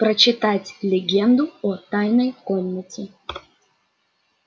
прочитать легенду о тайной комнате